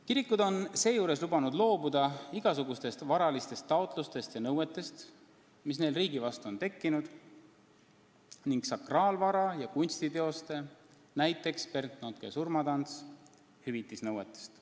Kirikud on seejuures lubanud loobuda igasugustest varalistest taotlustest ja nõuetest, mis neil riigi vastu on tekkinud, ning sakraalvara ja kunstiteoste, näiteks Bernt Notke "Surmatantsu" hüvitamise nõuetest.